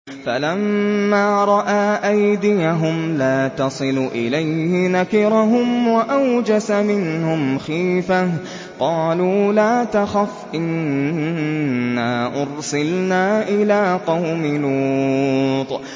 فَلَمَّا رَأَىٰ أَيْدِيَهُمْ لَا تَصِلُ إِلَيْهِ نَكِرَهُمْ وَأَوْجَسَ مِنْهُمْ خِيفَةً ۚ قَالُوا لَا تَخَفْ إِنَّا أُرْسِلْنَا إِلَىٰ قَوْمِ لُوطٍ